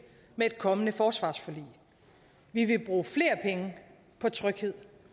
med et kommende forsvarsforlig vi vil bruge flere penge på tryghed